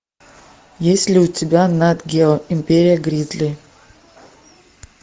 есть ли у тебя нат гео империя гризли